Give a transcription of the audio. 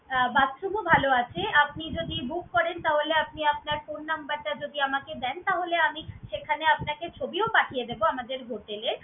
আহ bathroom ও ভালো আছে। আপনি যদি book করেন তাহলে আপনি আপনার phone number টা যদি আমাকে দেন, তাহলে আমি সেখানে আপনাকে ছবিও পাঠিয়ে দেবো আমাদের hotel এর।